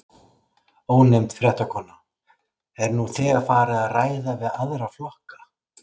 Ónefnd fréttakona: Er nú þegar farið að ræða við aðra flokka?